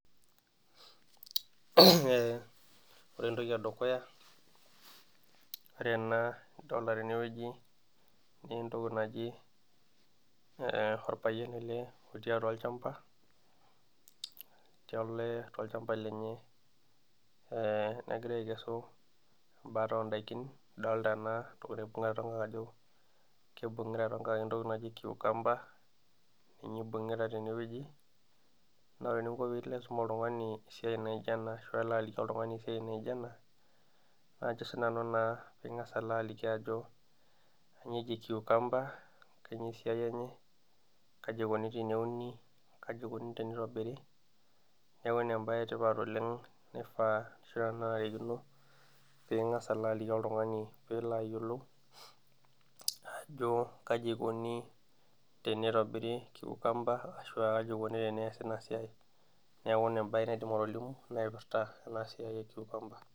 Ore entoki e dukuya ,ore ena nadolita teneweji naa orpayian ele otii atua olchampa ,olchampa lenye negira aikesu embata oondaikin nidolita naa ajo ekibungita toonkaek entoki naji kiukamba ninye eibungita teneweji, naa ore pee ilo aisum oltungani entoki naijo ena teneweji naa ingas alo aliki ajo kainyoo eji kiukamba ,kainyoo esiai enye ,kaji eikoni teneuni ,kaji eikoni tenitobiri, neeku ina embae etipat oleng ,nanarikino pee ingas alo aliki oltungani pee elo ayiolou ajo kaji eikoni tenitobiri kiukamba ashua kaji eikoni teneesi ina siai ,neeku ina embae naaidim atolimu naipirta ena siai ekiukamba.